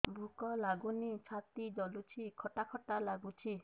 ଭୁକ ଲାଗୁନି ଛାତି ଜଳୁଛି ଖଟା ଖଟା ଲାଗୁଛି